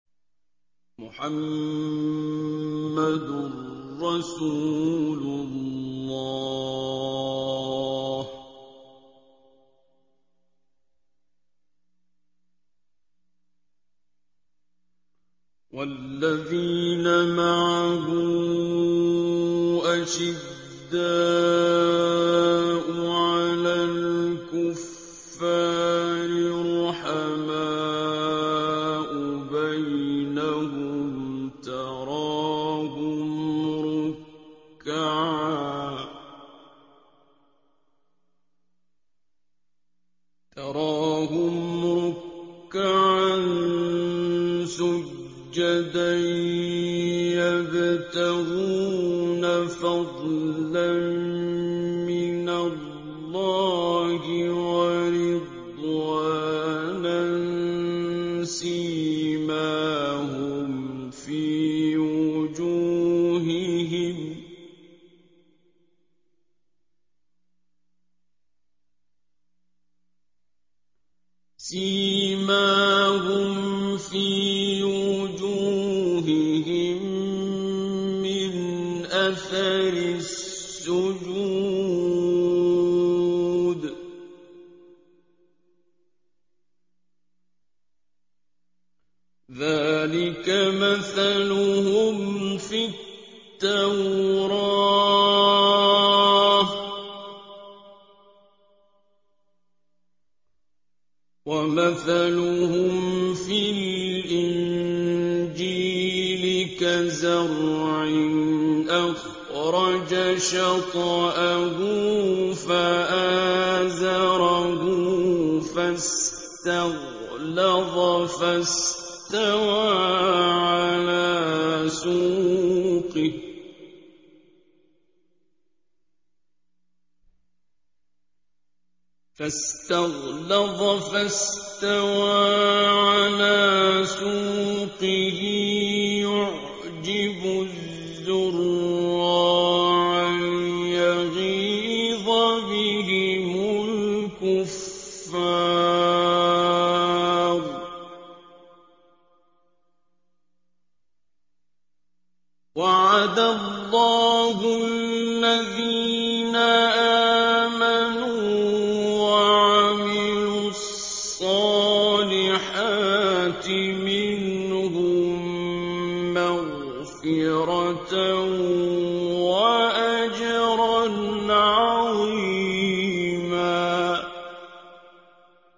مُّحَمَّدٌ رَّسُولُ اللَّهِ ۚ وَالَّذِينَ مَعَهُ أَشِدَّاءُ عَلَى الْكُفَّارِ رُحَمَاءُ بَيْنَهُمْ ۖ تَرَاهُمْ رُكَّعًا سُجَّدًا يَبْتَغُونَ فَضْلًا مِّنَ اللَّهِ وَرِضْوَانًا ۖ سِيمَاهُمْ فِي وُجُوهِهِم مِّنْ أَثَرِ السُّجُودِ ۚ ذَٰلِكَ مَثَلُهُمْ فِي التَّوْرَاةِ ۚ وَمَثَلُهُمْ فِي الْإِنجِيلِ كَزَرْعٍ أَخْرَجَ شَطْأَهُ فَآزَرَهُ فَاسْتَغْلَظَ فَاسْتَوَىٰ عَلَىٰ سُوقِهِ يُعْجِبُ الزُّرَّاعَ لِيَغِيظَ بِهِمُ الْكُفَّارَ ۗ وَعَدَ اللَّهُ الَّذِينَ آمَنُوا وَعَمِلُوا الصَّالِحَاتِ مِنْهُم مَّغْفِرَةً وَأَجْرًا عَظِيمًا